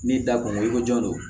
N'i da kungo i ko jɔn do